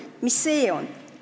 Mis see on?